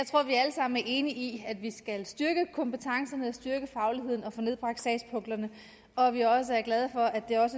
sammen er enige i at vi skal styrke kompetencerne og styrke fagligheden og få nedbragt sagspuklerne og at vi også er glade for at det er